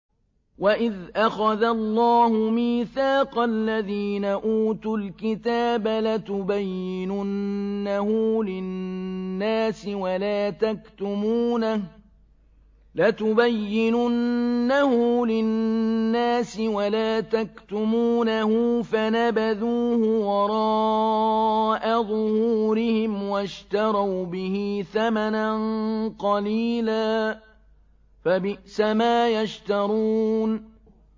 وَإِذْ أَخَذَ اللَّهُ مِيثَاقَ الَّذِينَ أُوتُوا الْكِتَابَ لَتُبَيِّنُنَّهُ لِلنَّاسِ وَلَا تَكْتُمُونَهُ فَنَبَذُوهُ وَرَاءَ ظُهُورِهِمْ وَاشْتَرَوْا بِهِ ثَمَنًا قَلِيلًا ۖ فَبِئْسَ مَا يَشْتَرُونَ